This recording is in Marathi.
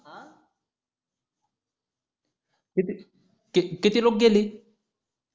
किती किती लुक गेली